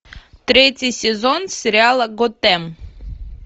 третий сезон сериала готэм